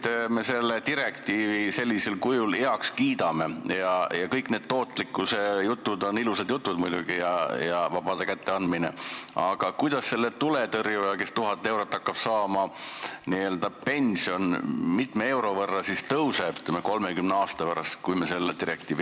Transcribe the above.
Kui me selle direktiivi sellisel kujul heaks kiidame – kõik see tootlikkus ja vabade käte andmine on muidugi ilus jutt –, siis mitme euro võrra selle tuletõrjuja, kes hakkab 1000 eurot saama, pension tõuseb, ütleme, 30 aasta pärast?